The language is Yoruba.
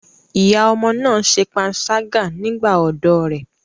Ìyá ọmọ náà ṣe panṣágà nígbà ọ̀dọ́ rẹ̀.